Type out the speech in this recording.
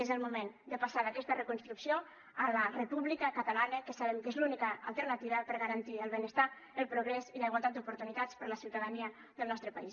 és el moment de passar d’aquesta reconstrucció a la república catalana que sabem que és l’única alternativa per garantir el benestar el progrés i la igualtat d’oportunitats per a la ciutadania del nostre país